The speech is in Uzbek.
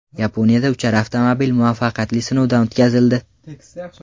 Yaponiyada uchar avtomobil muvaffaqiyatli sinovdan o‘tkazildi .